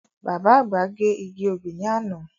Bàbá àgbà gé igi obì ní àná.